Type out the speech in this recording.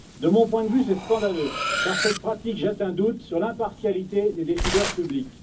De mon point de vue, c'est scandaleux, car cette pratique jette un doute sur l'impartialité des décideurs publics.